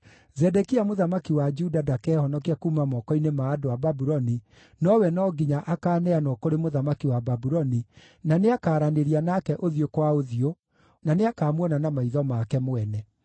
Zedekia mũthamaki wa Juda ndakehonokia kuuma moko-inĩ ma andũ a Babuloni, nowe no nginya akaaneanwo kũrĩ mũthamaki wa Babuloni, na nĩakaranĩria nake ũthiũ kwa ũthiũ, na nĩakamuona na maitho make mwene.